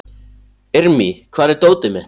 Irmý, hvar er dótið mitt?